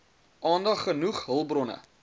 aandag genoeg hulpbronne